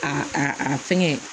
A a a fɛngɛ